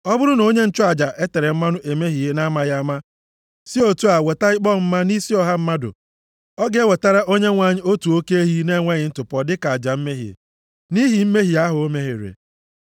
“ ‘Ọ bụrụ na onye nchụaja e tere mmanụ emehie na-amaghị ama, si otu a weta ikpe ọmụma nʼisi ọha mmadụ. Ọ ga-ewetara Onyenwe anyị otu oke ehi na-enweghị ntụpọ dịka aja mmehie, nʼihi mmehie ahụ o mere.